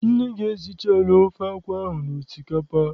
Nne gị esichala ofe akwụ ahụ na osikapa?